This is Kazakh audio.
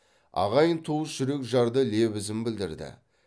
ағайын туыс жүрекжарды лебізін білдірді